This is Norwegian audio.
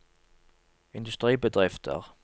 industribedrifter